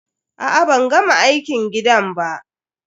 A'a ban gama aikin gidan ba.